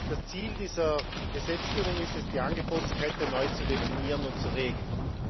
Das Ziel dieser Gesetzgebung ist es, die Angebotskette neu zu definieren und zu regeln.